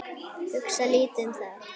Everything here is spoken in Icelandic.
Hugsa lítið um það.